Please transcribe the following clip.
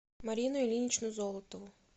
марину ильиничну золотову